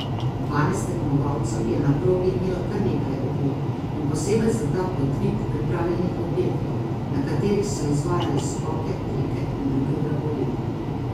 Dvanajst tekmovalcev je na progi imelo kar nekaj ovir in posebej za ta podvig pripravljenih objektov, na katerih so izvajali skoke, trike in druge vragolije.